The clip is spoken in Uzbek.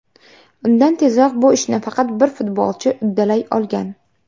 Undan tezroq bu ishni faqat bir futbolchi uddalay olgan.